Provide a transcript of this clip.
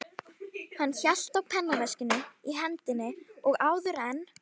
Hann hélt á pennaveskinu í hendinni og áður en